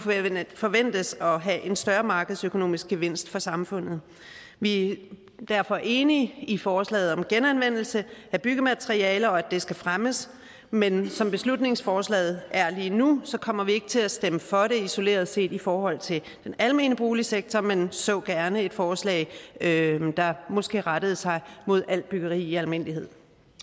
forventes at have en større markedsøkonomisk gevinst for samfundet vi er derfor enige i forslaget om genanvendelse af byggematerialer og at det skal fremmes men som beslutningsforslaget er lige nu kommer vi ikke til at stemme for det isoleret set i forhold den almene boligsektor men vi så gerne et forslag der måske rettede sig mod alt byggeri i almindelighed